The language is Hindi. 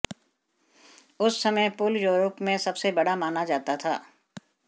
उस समय पुल यूरोप में सबसे बड़ा माना जाता था